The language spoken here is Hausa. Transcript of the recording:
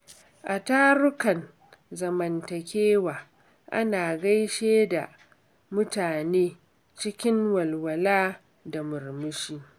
A tarukan zamantakewa, ana gaishe da mutane cikin walwala da murmushi.